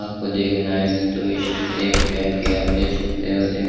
आपको देखना है तो इस एप देख सकते हो दे--